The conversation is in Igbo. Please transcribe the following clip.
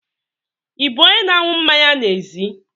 Ị bụ onye na-aṅụ mmanya n'ezi?